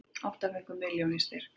Átta fengu milljón í styrk